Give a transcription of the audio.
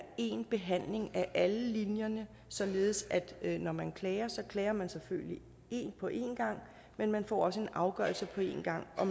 én behandling af alle linjerne således at når man klager så klager man selvfølgelig på én gang men man får også en afgørelse på én gang og